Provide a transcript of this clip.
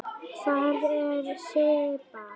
Hvar er Sibba?